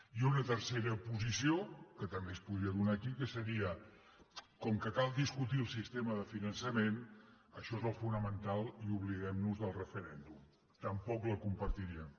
i una tercera posició que també es podria donar aquí que seria com que cal discutir el sistema de finançament això és el fonamental i oblidem nos del referèndum tampoc la compartiríem